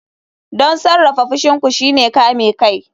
Don sarrafa fushin ku shine kame kai.